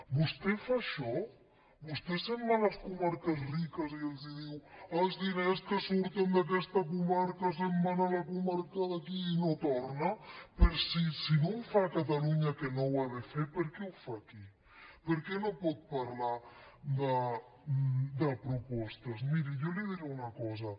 vostè fa això vostè se’n va a les comarques riques i els diu els diners que surten d’aquesta comarca se’n van a la comarca d’aquí i no tornen si no ho fa a catalunya que no ho ha de fer per què ho fa aquí per què no pot parlar de propostes miri jo li diré una cosa